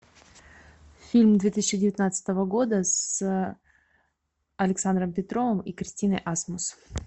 фильм две тысячи девятнадцатого года с александром петровым и кристиной асмус